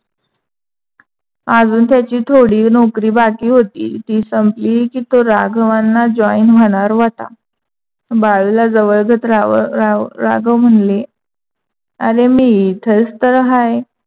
अजून त्याची थोडी नौकरी बाकी होती, ती संपली की तो राघवांना join होणार होता. बाळूला जवळ जात रा रा राघव म्हणले, आरे मी इथंच तर हाय.